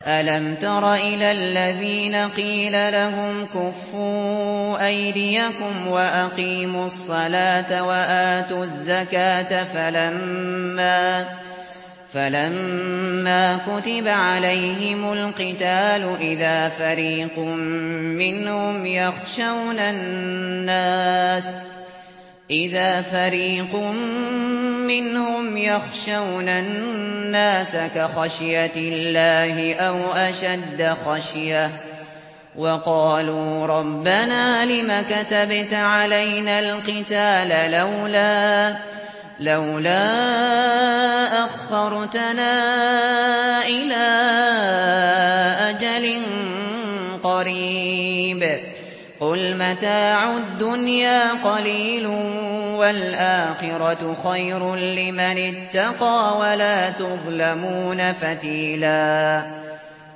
أَلَمْ تَرَ إِلَى الَّذِينَ قِيلَ لَهُمْ كُفُّوا أَيْدِيَكُمْ وَأَقِيمُوا الصَّلَاةَ وَآتُوا الزَّكَاةَ فَلَمَّا كُتِبَ عَلَيْهِمُ الْقِتَالُ إِذَا فَرِيقٌ مِّنْهُمْ يَخْشَوْنَ النَّاسَ كَخَشْيَةِ اللَّهِ أَوْ أَشَدَّ خَشْيَةً ۚ وَقَالُوا رَبَّنَا لِمَ كَتَبْتَ عَلَيْنَا الْقِتَالَ لَوْلَا أَخَّرْتَنَا إِلَىٰ أَجَلٍ قَرِيبٍ ۗ قُلْ مَتَاعُ الدُّنْيَا قَلِيلٌ وَالْآخِرَةُ خَيْرٌ لِّمَنِ اتَّقَىٰ وَلَا تُظْلَمُونَ فَتِيلًا